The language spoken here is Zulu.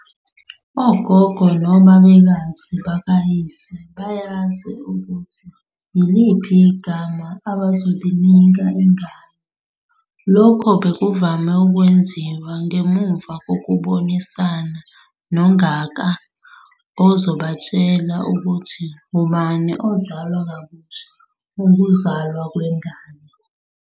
Ogogo nobabekazi bakayise bayazi ukuthi yiliphi igama abazolinika ingane. Lokhu bekuvame ukwenziwa ngemuva kokubonisana noNgaka ozobatshela ukuthi ngubani ozalwa kabusha ngokuzalwa kwengane.